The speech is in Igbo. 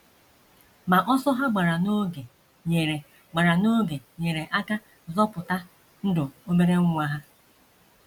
Ma ọsọ ha gbara n’oge nyere gbara n’oge nyere aka zọpụta ndụ obere nwa ha.